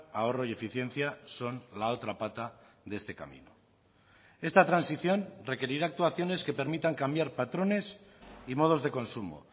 ahorro y eficiencia son la otra pata de este camino esta transición requerirá actuaciones que permitan cambiar patrones y modos de consumo